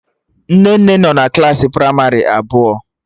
Nnenne nọ klaasị pramarị abụọ